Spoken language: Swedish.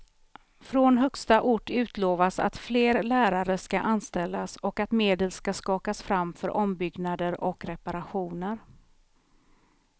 Från högsta ort utlovas att fler lärare ska anställas och att medel ska skakas fram för ombyggnader och reparationer.